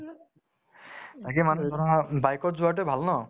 তাকে মানুহে জীৱন bike ত যোৱাতোয়ে ভাল ন